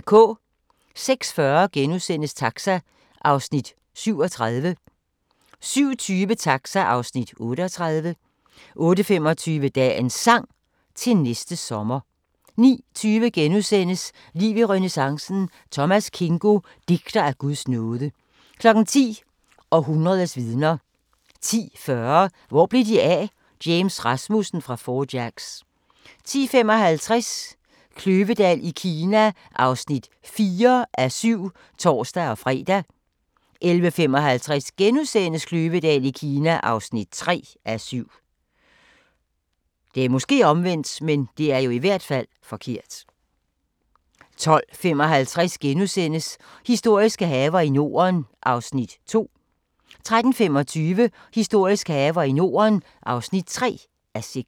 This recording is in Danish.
06:40: Taxa (Afs. 37)* 07:20: Taxa (Afs. 38) 08:25: Dagens Sang: Til næste sommer 09:20: Liv i renæssancen: Thomas Kingo - digter af Guds nåde * 10:00: Århundredets vidner 10:40: Hvor blev de af? – James Rasmussen fra Four Jacks 10:55: Kløvedal i Kina (4:7)(tor-fre) 11:55: Kløvedal i Kina (3:7)* 12:55: Historiske haver i Norden (2:6)* 13:25: Historiske haver i Norden (3:6)